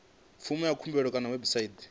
fomo ya khumbelo kha website